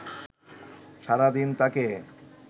সারাদিন তাকে